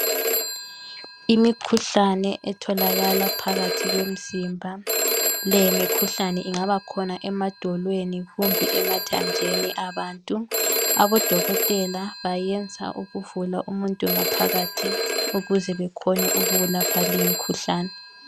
Imikhuhlane etholakala phakathi kwemizimba le imikhuhlane ingaba khona emadolweni kumbe emathanjeni abantu abodokotela bayenza ukuvula umuntu ngaphakathi ukuze benelise ukulapha leyi imikhuhlane.